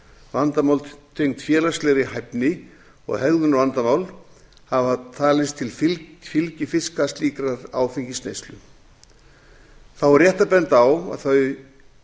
vandamál tengd félagslegri hæfni og hegðunarvandamál hafa talist til fylgifiska slíkrar áfengisneyslu þá er rétt að benda á að þau